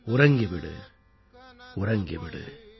உறங்கி விடு உறங்கி விடு